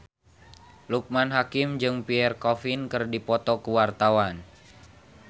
Loekman Hakim jeung Pierre Coffin keur dipoto ku wartawan